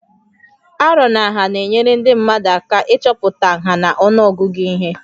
Arọ na nha na-enyere ndị mmadụ aka 5o ịchọpụta nha na ọnụọgụ ihe